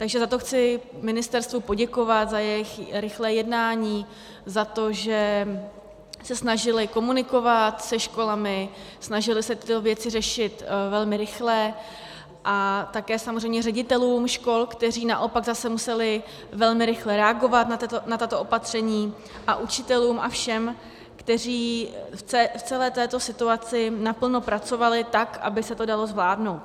Takže za to chci ministerstvu poděkovat, za jejich rychlé jednání, za to, že se snažili komunikovat se školami, snažili se tyto věci řešit velmi rychle, a také samozřejmě ředitelům škol, kteří naopak zase museli velmi rychle reagovat na tato opatření, a učitelům a všem, kteří v celé této situaci naplno pracovali tak, aby se to dalo zvládnout.